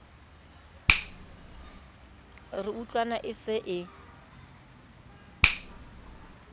re utlwana e se e